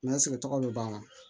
N'an sigi tɔgɔ bɛ ban